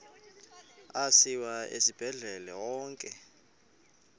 asiwa esibhedlele onke